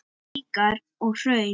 Gígar og hraun